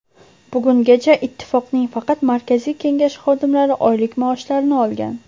Bugungacha Ittifoqning faqat Markaziy kengashi xodimlari oylik maoshlarini olgan.